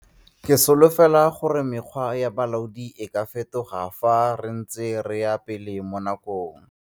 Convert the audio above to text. Ke solofela gore mekgwa e ya bolaodi e ka fetoga fa re ntse re ya pele mo nakong.